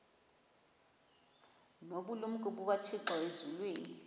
nobulumko bukathixo elizwini